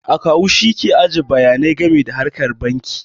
Akawu shi ke ajiye bayanai game da harkar banki